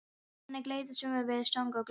Þannig leið sumarið við söng og gleði.